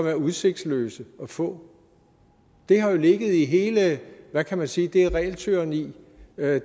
er udsigtsløst at få det har jo ligget i hele hvad kan man sige det regeltyranni